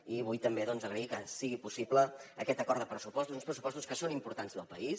i vull també agrair que sigui possible aquest acord de pressupostos uns pressupostos que són importants per al país